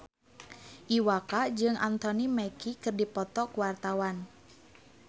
Iwa K jeung Anthony Mackie keur dipoto ku wartawan